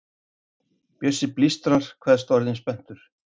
Bjössi blístrar, kveðst orðinn spenntur.